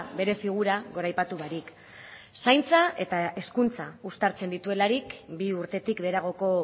bere figura goraipatu barik zaintza eta hezkuntza uztartzen dituelarik bi urtetik beheragoko